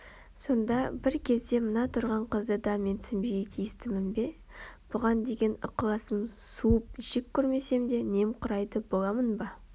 сонда бір кезде мына тұрған қызды да мен түсінбеуге тиістімін бе бұған деген ықыласым суып жек көрмесем де немқұрайды боламын ба